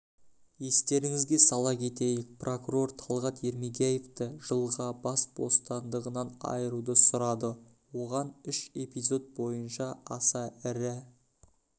естеріңізге сала кетейік прокурор талғат ермегияевті жылғабас бостандығынан айыруды сұрады оған үш эпизод бойынша аса ірі